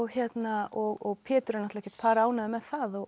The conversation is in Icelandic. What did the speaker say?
og Pétur er ekkert par ánægður með það og